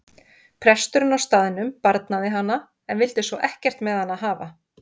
Presturinn á staðnum barnaði hana en vildi svo ekkert með hana hafa.